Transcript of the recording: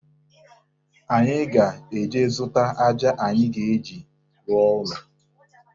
Anyị ga-eje zụta aja anyị ga-eji rụọ ụlọ